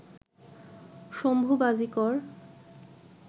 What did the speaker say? Shambhu Bajikar